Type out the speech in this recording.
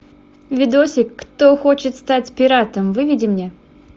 видосик кто хочет стать пиратом выведи мне